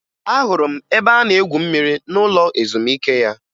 Ahụrụ m ebe a na-egwu mmiri n'ụlọ ezumike ya